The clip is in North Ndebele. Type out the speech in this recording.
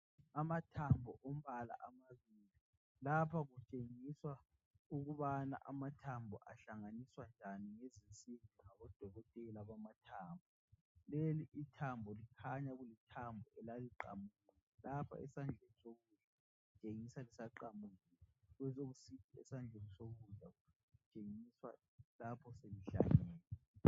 Amathambo ombala amabili lapha kutshengiswa ukubana amathambo ahlanganiswa njani ngezinsimbi ngabo dokotela bamathambo, leli ithambo likhanya kulithambo elaliqamukile lapha esandleni sokudla litshengisa lisaqamukile besokusithi esandleni sokudla kutshengiswa lapha seli hlangene.